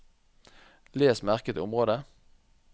Les merket område